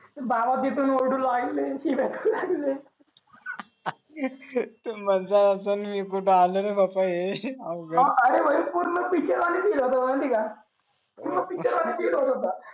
बाबा भी पण ओरडू लागले तु म्हटल असल मी कुठ आल रे बापा हे अवघड पूर्ण पिके वणीच केल तो माहित आहेआहे. का पूर्ण पिके वाणी केलाकेली होता